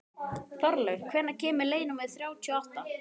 Þorlaug, hvenær kemur leið númer þrjátíu og átta?